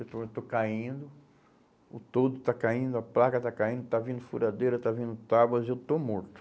Eu estou, eu estou caindo, o toldo está caindo, a placa está caindo, está vindo furadeira, está vindo tábuas, eu estou morto.